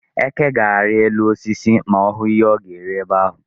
Eke ga-arị elu osisi ma ọ hụ ihe ọ ga-eri ebe ahụ.